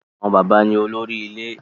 Àwọn bàbá ni olórí ilé.